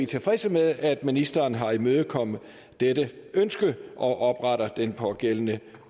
tilfredse med at ministeren har imødekommet dette ønske og opretter den pågældende